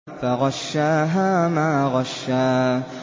فَغَشَّاهَا مَا غَشَّىٰ